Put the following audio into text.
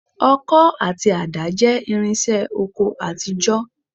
Ọkọ́ àti àdá jẹ́ irinṣẹ́ oko àtijọ́